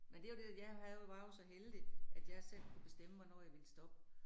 Men det jo det jeg havde var jo så heldig, at jeg selv kunne bestemme, hvornår jeg ville stoppe